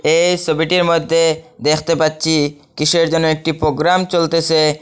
এই সবিটির মদ্যে দেখতে পাচ্চি কিসের যেন একটি পোগ্রাম চলতেসে।